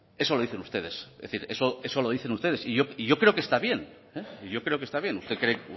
eso lo dicen ustedes es decir eso lo dicen ustedes y yo creo que está bien yo creo que está bien usted cree